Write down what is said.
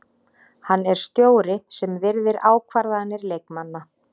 Hann er stjóri sem virðir ákvarðanir leikmanna.